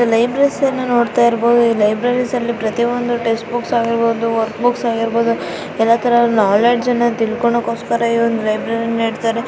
libraries ಅನ್ನ ನೋಡ್ತಾ ಇರ್ಬೋದು ಈ ಲೈಬ್ರರಿಸ್ ಅಲ್ಲಿ ಪ್ರತಿ ಒಂದು ಟೆಕ್ಸ್ಟ್ ಬುಕ್ಸ್ ಆಗಿರ್ಬೋದು ವರ್ಕ್ ಬುಕ್ಸ್ ಆಗಿರ್ಬೋದು ಎಲ್ಲಾ ತರ ನಾಲೆಡ್ಜ್ ಅನ್ನ ತಿಳ್ಕೋಣಕೋಸ್ಕರ ಈ ಒಂದು ಲೈಬ್ರರಿ ನ ನೀಡ್ತಾರೆ --